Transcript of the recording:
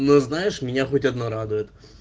ну знаешь меня хоть одно радует